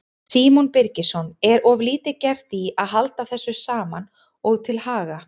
Símon Birgisson: Er of lítið gert í að halda þessu saman og til haga?